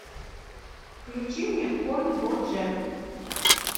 включи мне конь боджек